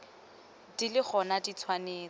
di le gona di tshwanetse